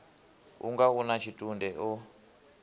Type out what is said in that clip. unga u na tshitunde o